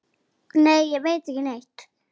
Nei, ég veit ekki neitt.